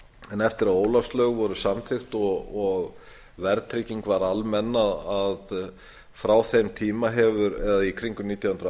en eftir að ólafslög voru samþykkt og verðtrygging varð almenn frá þeim tíma í kringum nítján hundruð